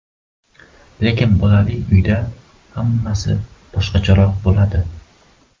Lekin bolali uyda hammasi boshqacharoq bo‘ladi.